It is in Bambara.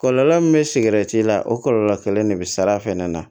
Kɔlɔlɔ min bɛ sigɛrɛti la o kɔlɔlɔ kelen de bɛ sara a fɛnɛ na